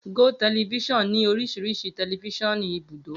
Gotv ní oríṣiríṣi tẹlifiṣionu ìbúdò.